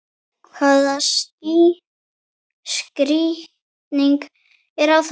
Hvaða skýring er á þessu?